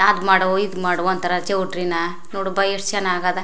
ಅದ್ ಮಾಡು ಈದ್ ಮಾಡು ಅಂತರೆ ಚೌಟ್ರಿನಾ ನೋಡು ಬಾ ಎಷ್ಟ ಚನ್ನಾಗ್ ಅದ್.